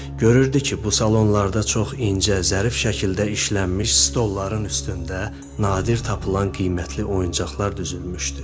Görürdü ki, bu salonlarda çox incə, zərif şəkildə işlənmiş stolların üstündə nadir tapılan qiymətli oyuncaqlar düzülmüşdü.